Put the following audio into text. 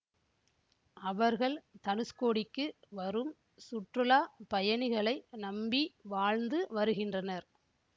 அவர்கள் தனுஷ்கோடிக்கு வரும் சுற்றுலா பயணிகளை நம்பி வாழ்ந்து வருகின்றனர்